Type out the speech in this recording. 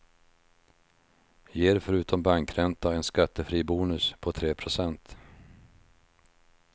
Ger förutom bankränta en skattefri bonus på tre procent.